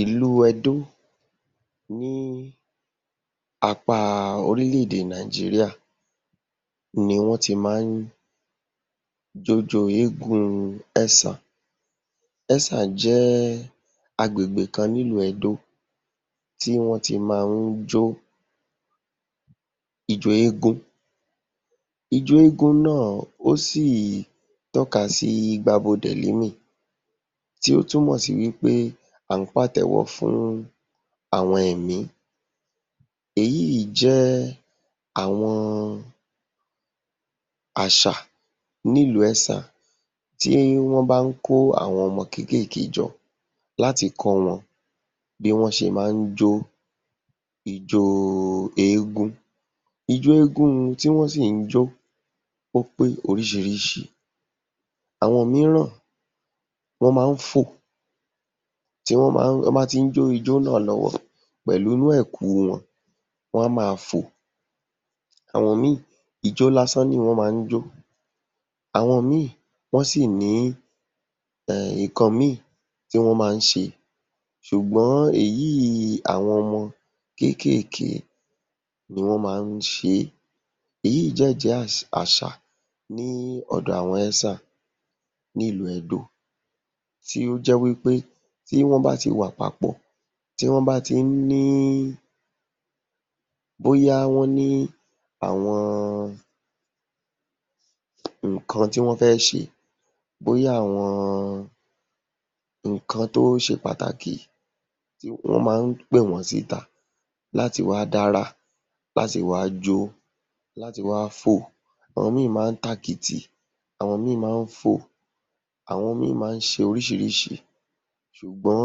Ìlú Edo ní apá orílẹ̀-èdè Nigeria ni wọ́n ti má ń j’ójóo eégún Esan. Esan jẹ́ agbègbè kan n’ilu Edo tí wọ́n ti má ń jó ijó eégún. Ijó eégún náà ó sì tọ́kasí tí ó túmọ̀ sí wí pé à ń pàtẹ́wọ́ fún àwọn ẹ̀mí. Èyí yìí jẹ́ àwọn àṣà ní ìlú Ẹ́sàn tí wọ́n bá ń kó àwọn ọmọ kékèké jọ láti kọ́ wọn bí wọ́n ṣe má ń jó ijóo eégún. Ijó eégún tí wọ́n sì ń jó ó pé oríṣiríṣi. Àwọn mííràn wọ́n má ń fò tí wọ́n má ń, tí wọ́n bá ti ń jó ijó náà lọ́wọ́ pẹ̀lú inú ẹ̀kú wọn, wọ́n á máa fò. Àwọn míì ijó lásán ni wọ́n má ń jó, àwọn míì wọ́n sì ní nǹkan míì tí wọ́n má ń ṣe ṣùgbọ́n èyí àwọn ọmọ kékèké ni wọ́n má ń ṣe é. Èyí yìí dẹ̀ jẹ́ àṣà ní ọ̀dọ̀ àwọn Esan ní ìlú Edo tí ó jẹ́ wí pé tí wọ́n bá ti wà papọ̀, tí wọ́n bá ti ń ní bóyá wọ́n ní àwọn nǹkan tí wọ́n fẹ́ ṣe, bóyá àwọn nǹkan tó ṣe pàtàkì, wọ́n má ń pè wọ́n síta láti wá dárà, láti wá jó, láti wá fò, àwọn míì má ń tàkìtì, àwọn míì má ń fò. Àwọn míì má ń ṣe oríṣiríṣi ṣùgbọ́n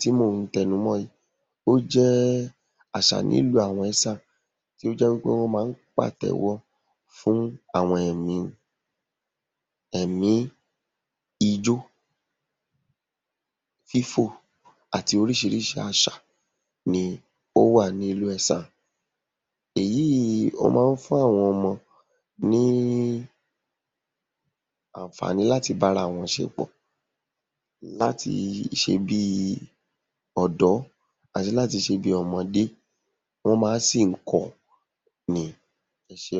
tí mò ń tẹnu mọ́ yìí ó jẹ́ àṣà ní ìlú àwọn Esan tó jẹ́ wí pé wọ́n má ń pàtẹ̀wọ́ fún àwọn ẹ̀mí ni - èmí ijó, fífò àti oríṣiríṣi àṣà ni ó wà ní ìlú Esan. Èyí yìí ó má ń fún àwọn ọmọ ní àǹfààní láti láti bára wọn ṣe pọ̀, láti ṣe bí i ọ̀dọ́ àti láti ṣe bí i ọmọdé. Wọ́n máá sì ń kọ́ ọ ni. Ẹ ṣé.